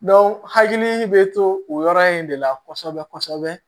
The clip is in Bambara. hakili bɛ to o yɔrɔ in de la kosɛbɛ kosɛbɛ